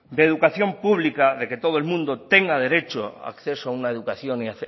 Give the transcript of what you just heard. de educación pública de que todo el mundo tenga derecho acceso a una educación y